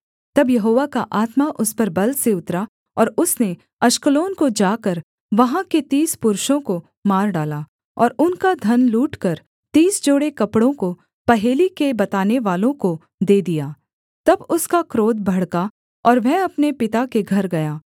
तब यहोवा का आत्मा उस पर बल से उतरा और उसने अश्कलोन को जाकर वहाँ के तीस पुरुषों को मार डाला और उनका धन लूटकर तीस जोड़े कपड़ों को पहेली के बतानेवालों को दे दिया तब उसका क्रोध भड़का और वह अपने पिता के घर गया